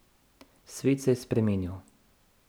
Svet se je spremenil.